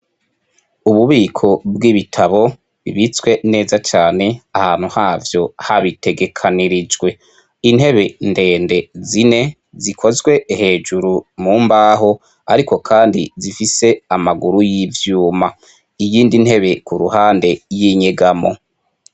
Ububiko bw' ibitabo bibitswe neza cane ahantu havyo habitegekanirijwe, intebe ndende zine zikozwe hejuru mu mbaho ariko kandi zifise amaguru y' ivyuma, iyindi intebe ku ruhande y' inyegamo.